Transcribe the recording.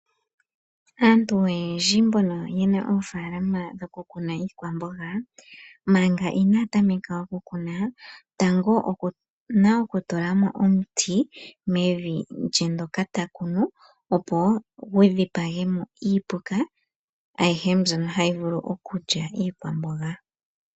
Aantu oyendji mbono yena oofalama dhoku kuna iikwamboga, manga ina tameka oku kuna tango okuna oku tula mo omuti mevi lye ndjoka ta kunu. Opo ku dhipagwe mo iipuka, ayihe mbyoka hayi vulu okulya iikwamboga.